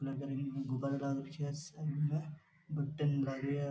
बगल में गुब्बारा सा लगा राख्या है --